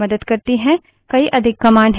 कई अधिक commands हैं